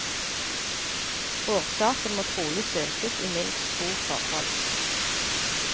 Årsaken må trolig søkes i minst to forhold.